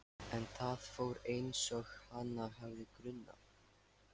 En það fór einsog hana hafði grunað.